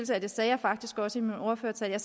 det sagde jeg faktisk også i min ordførertale